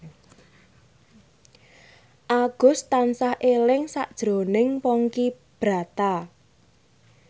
Agus tansah eling sakjroning Ponky Brata